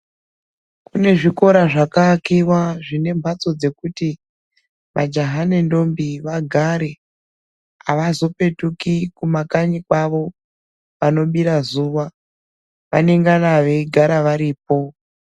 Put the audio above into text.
Kune zvikora zvakaakiwa zvine mbatso dzekuti majaha nendombi vagare avazopetuki Kuma kanyi kwavo panobira zuwa vanengana veigara varipo.